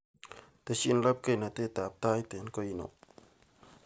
Teshi labkeinatetab tait eng koin oo